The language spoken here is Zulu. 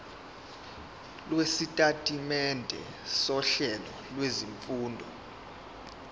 lwesitatimende sohlelo lwezifundo